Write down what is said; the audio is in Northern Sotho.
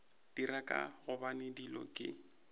dira ka gobane dilo ke